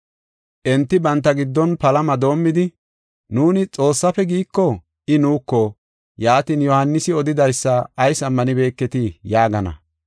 Enti banta giddon palama doomidi, “Nuuni, ‘Xoossafe’ giiko, I nuuko, ‘Yaatin, Yohaanisi odidaysa ayis ammanibeketii?’ yaagana.